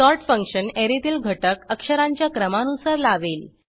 sort function ऍरेतील घटक अक्षरांच्या क्रमानुसार लावेल